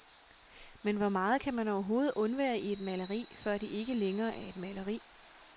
Men hvor meget kan man overhovedet undvære i et maleri, før det ikke længere er et maleri?